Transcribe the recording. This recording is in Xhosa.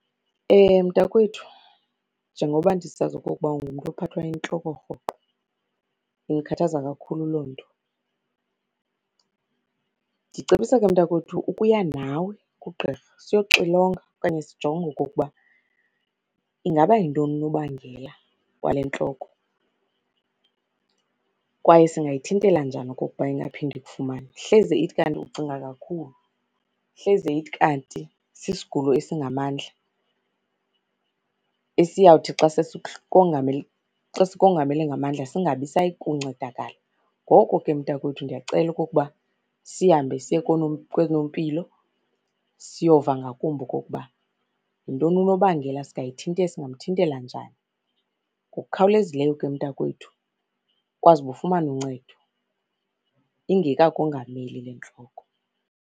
Mntakwethu, njengoba ndisazi okokuba ungumntu ophathwa yintloko rhoqo, indikhathaza kakhulu loo nto. Ndicebisa ke mntakwethu ukuya nawe kugqirha siyoxilonga okanye sijonge okokuba ingaba yintoni unobangela wale ntloko, kwaye singayithintela njani okokuba ingaphinde ikufumane. Hleze ithi kanti ucinga kakhulu, hleze ithi kanti sisigulo esingamandla esiyawuthi xa sesikongamele xa sikamongamele ngamandla, singabisayi kuncedakala. Ngoko ke mntakwethu ndiyacela okokuba sihambe siye koonompilo siyova ngakumbi okokuba yintoni unobangela, singamthintela njani. Ngokukhawulezileyo ke mntakwethu ukwazi uba ufumane uncedo ingekakongameli le ntloko.